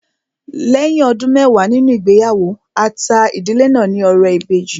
Lẹ́yìn ọdún mẹwàá nínú ìgbéyàwó, a ta ìdílé náà ní ọrẹ ìbejì